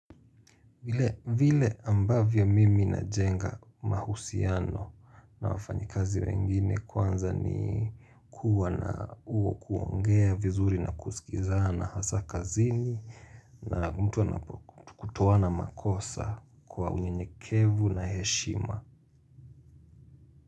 Vile ambavyo mimi najenga mahusiano na wafanyikazi wengine kwanza ni kuwa na uo kuongea vizuri na kusikiza na hasa kazini na mtu anakutoa na makosa kwa unyenyekevu na heshima.